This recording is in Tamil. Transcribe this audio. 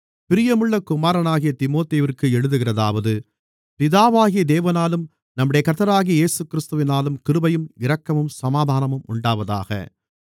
பிரியமுள்ள குமாரனாகிய தீமோத்தேயுவிற்கு எழுதுகிறதாவது பிதாவாகிய தேவனாலும் நம்முடைய கர்த்தராகிய கிறிஸ்து இயேசுவினாலும் கிருபையும் இரக்கமும் சமாதானமும் உண்டாவதாக